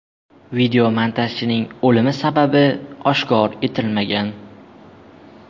Videomontajchining o‘limi sababi oshkor etilmagan.